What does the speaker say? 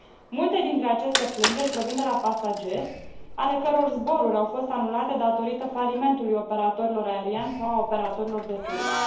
Multe dintre aceste plângeri provin de la pasageri ale căror zboruri au fost anulate datorită falimentului operatorilor aerieni sau al operatorilor de turism.